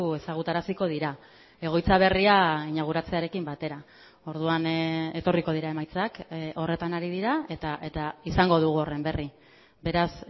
ezagutaraziko dira egoitza berria inauguratzearekin batera orduan etorriko dira emaitzak horretan ari dira eta izango dugu horren berri beraz